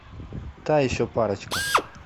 та еще парочка